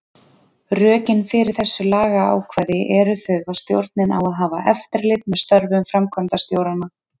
Rökin fyrir þessu lagaákvæði eru þau að stjórnin á að hafa eftirlit með störfum framkvæmdastjóranna.